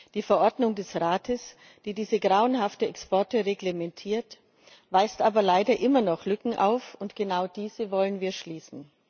Die Verordnung des Rates, die diese grauenhaften Exporte reglementiert, weist aber leider immer noch Lücken auf, und genau diese wollen wir schließen.